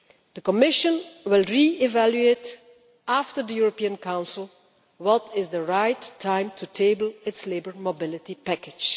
The Commission will re evaluate, after the European Council, when is the right time to table its labour mobility package.